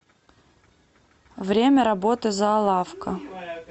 время работы зоолавка